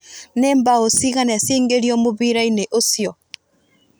nĩ mbao cĩigana cia ingiririo mũbira-inĩ ũcio?